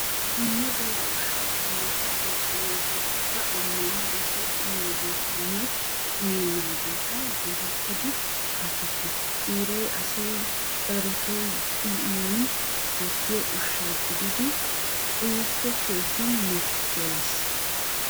Dumma dumma ushsha qommoti de'oosona. Hegeetikka ammaniya asay uyiyoogeetanne uyennaageeta geetettidi shaakettishin biiray asay darotoo uyiyoonne dosiyo ushsha gidiiddi uyikko keehin mattoyees.